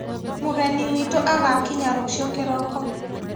Mũgeni witũ agakinya rũciũ kĩroko